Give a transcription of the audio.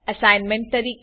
assignment તરીકે